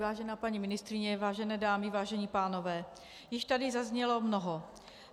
Vážená paní ministryně, vážené dámy, vážení pánové, již tady zaznělo mnoho.